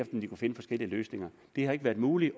om de kunne finde forskellige løsninger det har ikke været muligt